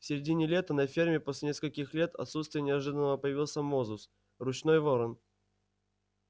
в середине лета на ферме после нескольких лет отсутствия неожиданно появился мозус ручной ворон